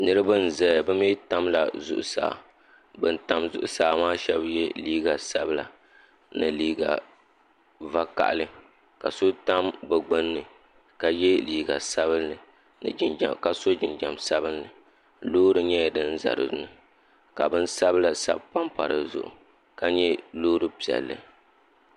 Niriba n zaya bi mi tamila zuɣusaa bini tam zuɣusaa maa shɛba ye liiga sabila ni liiga vakahali ka so tam bi gbunni ka ye liiga sabinli ka so jinjam sabinli loori nyɛla din za dinni ka bin sabila sabi pam pa di zuɣu ka nyɛ loori piɛlli.